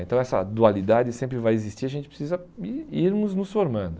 Então essa dualidade sempre vai existir, a gente precisa ir irmos nos formando.